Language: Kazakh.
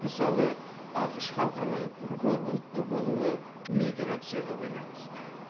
мысалы ақш халқының көп ұлтты болуы миграцияға байланысты